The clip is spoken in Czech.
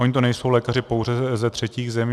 Oni to nejsou lékaři pouze ze třetích zemí.